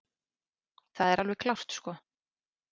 Það er alveg klárt sko.